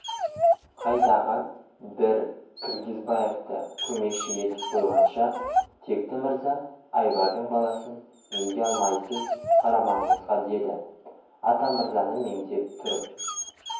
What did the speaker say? қайдағы бір киргизбаевты көмекші етіп қойғанша текті мырза айбардың баласын неге алмайсыз қарамағыңызға деді атамырзаны меңзеп тұрып